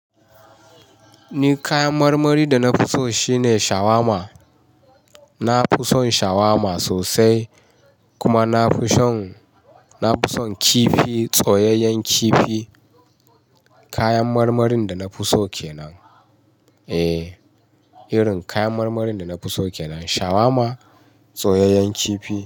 Ni kayan marmari da na fi so shine shawarma. Na fi son shawarma sosai kuma na fi son, na fi son kifi, soyyayen kifi. Kayan marmarin da na fi so kenan. Eh, irin kayan marmarin da na fi so kenan shawarma, tsoyyayen kifi.